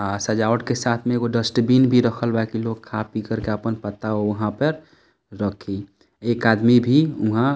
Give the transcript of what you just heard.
आ सजावट के साथ में एगो डस्टबिन भी रखल बा की लोग अपन खा पीकर अपन पत्ता उ वहां पर रखी एक आदमी भी उहा --